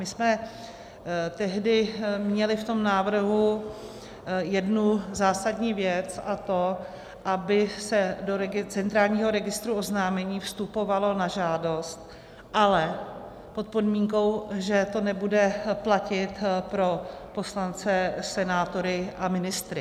My jsme tehdy měli v tom návrhu jednu zásadní věc, a to aby se do centrálního registru oznámení vstupovalo na žádost, ale pod podmínkou, že to nebude platit pro poslance, senátory a ministry.